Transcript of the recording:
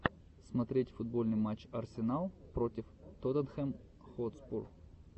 смотреть футбольный матч арсенал против тоттенхэм хотспур